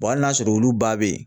hali n'a sɔrɔ olu ba be yen